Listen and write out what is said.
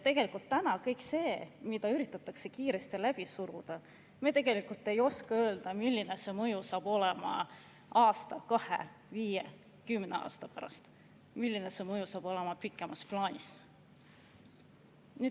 Kõige selle kohta, mida täna üritatakse kiiresti läbi suruda, me tegelikult ei oska öelda, milline mõju saab sellel olema aasta, kahe, viie, kümne aasta pärast, milline see mõju saab olema pikemas plaanis.